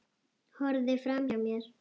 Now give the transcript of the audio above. Horfði framhjá mér.